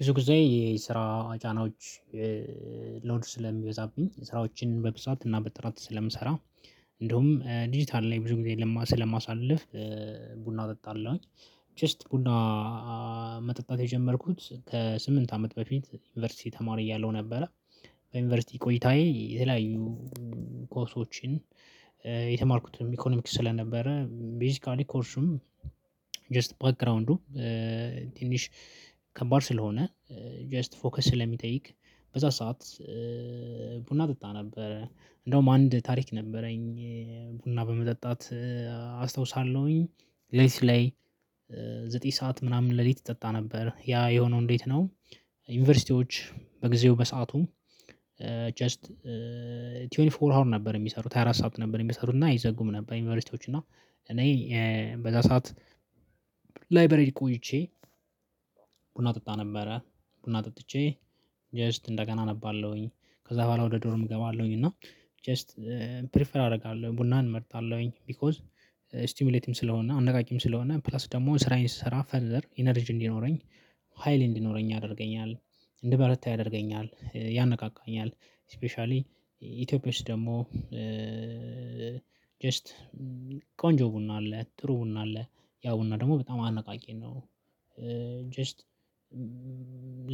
ብዙ ጊዜ የስራ ጫናዎች ሎድ ስለሚበዛብኝ ስራዎችን በብዛት እና በጥራት ስለምሰራ እንደውም ዲጂታል ላይ ብዙ ጊዜ ስለማሳልፍ ቡና እጠጣለሁኝ። ጀስት ቡና መጠጣት የጀመርኩት ከስምንት አመት በፊት ዩኒቨርሲቲ ተማሪ እያለሁ ነበረ። በዩንቨርሲቲ ቆይታዬ የተለያዩ ኮርሶችን የተማርኩትም ኢኮኖሚክስ ስለነበረ ቤዚካሊ ኮርሱም ጀስት ባክግራውንዱ ትንሽ ከባድ ስለሆነ ጀስት ፎከስ ስለሚጠይቅ። በዛ ሰዓት ቡና እጠጣ ነበረ እንደውም አንድ ታሪክ ነበረኝ ቡና በመጠጣት አስታውሳለሁኝ። ሌሊት ላይ ዘጠኝ ሰዓት ምናምን ሌሊት ይጠጣ ነበር ያ የሆነው እንዴት ነው? ዩኒቨርሲቲዎች በጊዜው በሰአቱ። ጀስት ሃያ አራት ሃወር ነበር የሚሰሩት ሃያ አራት ሰዓት ነበር የሚሰሩትና አይዘጉም ነበር። ዪንቨርስቲዎች እና እኔ በዛ ሰዓት ላይብረሪ ቆይቼ ቡና ጠጣ ነበረ። ቡና ጠጥቼ ጀስት እንደገና አነባለሁኝ ከዛ በኋላ ወደ ዶርም እገባለሁኝ። እና ጀስት ፕሪፈር አደርጋለሁኝ ቡናን እመርጣለሁኝ። ቢኮዝ ስቲሙሌትም ስለሆነ አነቃቂም ስለሆነ ፕላስ ደግሞ ስራዬን ስሰራ ፈርዘር ኢነርጂ እንዲኖረኝ ሀይል እንዲኖረኝ ያደርገኛል። እንድበረታ ያደርገኛል ያነቃቃኛል። ስፔሻሊ ኢትዮጵያ ውስጥ ደግሞ ጀስት ቆንጆ ቡና አለ ጥሩ ቡና አለ ያ ቡና ደግሞ በጣም አነቃቂ ነው። ጀስት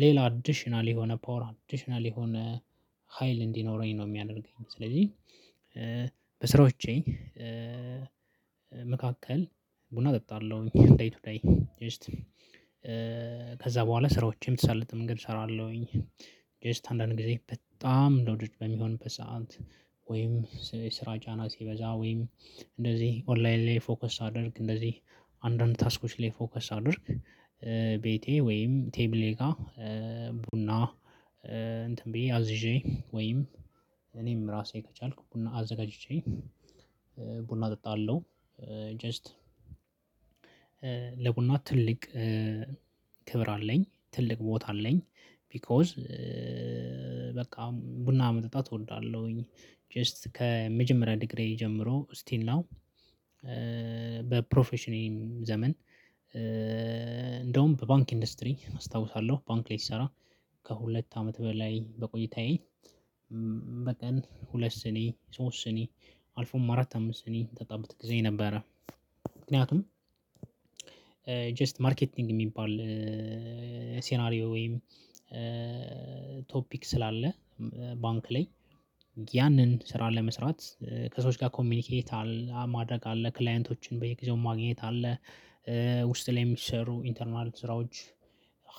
ሌላ አዲሽናል የሆነ ፓወር አዲሽናል የሆነ ሀይል እንዲኖረኝ ነው የሚያደርገኝ። ስለዚህ በስራዎቼ መካከል ቡና እጠጣለሁኝ። እንዴት እንዴት ጀስት ከዛ በኋላ ስራዎቼም ትሰልጥም ምግብ እሰራለሁኝ። ጀስት አንዳንድ ጊዜ በጣም ሎድድ በሚሆን በሰአት ወይም የስራ ጫና ሲበዛ ወይም እንደዚህ ኦንላይን ላይ ፎከስ ሳደርግ እንደዚህ አንዳንድ ታስኮች ላይ ፎከስ ሳደርግ። ቤቴ ወይም ቴብሌ ጋር ቡና እንትን ብዬ አዝዤ ወይም እኔም ራሴ ከቻልኩ ቡና አዘጋጅቼ ቡና እጠጣለሁ። ጀስት ለቡና ትልቅ ክብር አለኝ ትልቅ ቦታ አለኝ። ቢኮዝ በቃ ቡና መጠጣት እወዳለሁኝ። ጀስት ከመጀመሪያ ዲግሪ ጀምሮ ስቲል ናው በፕሮፌሽኔም ዘመን እንደውም በባንክ ኢንዱስትሪ አስታውሳለሁ ባንክ ላይ ስሰራ ከሁለት አመት በላይ በቆይታዬ በቀን ሁለት ስኒ ሶስት ስኒ አልፎም አራት አምስት ስኒ የምጠጣበት ጊዜ ነበረ። ምክንያቱም ጀስት ማርኬቲንግ የሚባል ሲናሪዮ ወይም ቶፒክ ስላለ። ባንክ ላይ ያንን ስራ ለመስራት ከሰዎች ጋር ኮሚኒኬት አለ ማድረግ አለ ክላይንቶችን በየጊዜው ማግኘት አለ። ውስጥ ላይ የሚሰሩ ኢንተርናል ስራዎች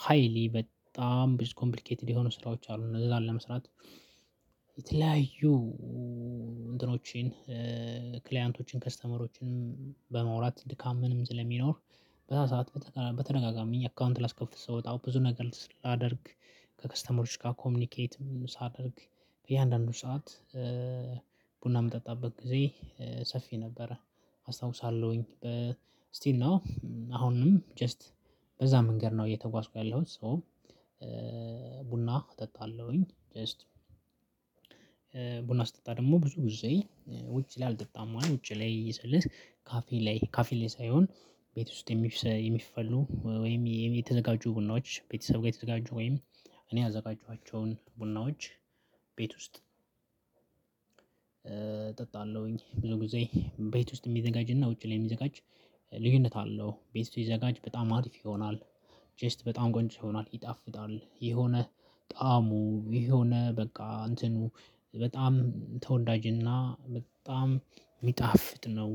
ሃይሊ በጣም ብዙ ኮምፕሊኬትድ የሆኑ ስራዎች አሉ። እነዛን ለመስራት የተለያዩ እንትኖችን ክሊያንቶችን ከስተመሮችን በማውራት ድካም ምንም ስለሚኖር። በዛ ሰዓት በተደጋጋሚ አካውንት ላስከፍት ስወጣ ብዙ ነገር ላደርግ ከከስተመሮች ጋር ኮሚኒኬትም ሳደርግ። በእያንዳንዱ ሰዓት ቡና የምጠጣበት ጊዜ ሰፊ ነበረ። አስታውሳለሁኝ ስቲል ናው አሁንም ጀስት በዛ መንገድ ነው እየተጓዝኩ ያለሁት። ሶ ቡና እጠጣለሁኝ። ጀስት ቡና ስጠጣ ደግሞ ብዙ ጊዜ ውጪ ላይ አልጠጣም ውጪ ላይ ስልህ ካፌ ላይ ካፌ ላይ ሳይሆን ቤት ውስጥ የሚፈሉ ወይም የተዘጋጁ ቡናዎች ቤተሰብ ጋር የተዘጋጁ ወይም እኔ ያዘጋጇቸውን ቡናዎች። ቤት ውስጥ እጠጣለሁኝ። ብዙ ጊዜ ቤት ውስጥ የሚዘጋጅና ውጪ ላይ የሚዘጋጅ ልዩነት አለው። ቤት ውስጥ የሚዘጋጅ በጣም አሪፍ ይሆናል። ጀስት በጣም ቆንጆ ይሆናል ይጣፍጣል የሆነ ጣዕሙ የሆነ በቃ እንትኑ በጣም ተወዳጅና በጣም ሚጣፍጥ ነው።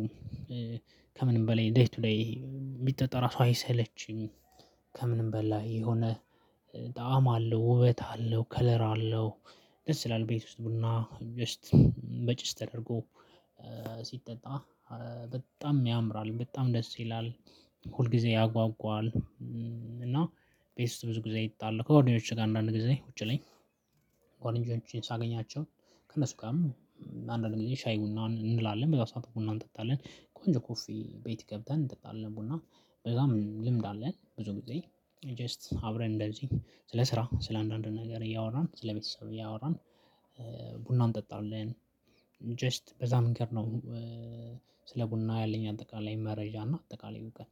ከምንም በላይ ዴይቱዴይ ቢጠጣ ራሱ አይሰለችም። ከምንም በላይ የሆነ ጣዕም አለው ውበት አለው ከለር አለው። ደስ ይላል ቤት ውስጥ ቡና ጀስት በጭስ ተደርጎ ሲጠጣ በጣም ያምራል በጣም ደስ ይላል ሁል ጊዜ ያጓጓል። እና ቤት ውስጥ ብዙ ጊዜ እጠጣለሁ። ከጓደኞች ጋር አንዳንድ ጊዜ ውጪ ላይ ጓደኖችን ሳገኛቸው ከእነሱ ጋርም አንዳንድ ጊዜ ሻይ ቡና እንላለን በዛ ሰዓት ቡና እንጠጣለን ቆንጆ ኮፊ ቤት ገብተን እንጠጣለን ቡና። በዛም ልምድ አለን። ብዙ ጊዜ ጀስት አብረን እንደዚህ ስለ ስራ ስለ አንዳንድ ነገር እያወራን ስለ ስለቤተሰብ እያወራን ቡና እንጠጣለን። ጀስት በዛ መንገድ ነው። ስለ ቡና ያለኝ አጠቃላይ መረጃ እና አጠቃላይ እውቀት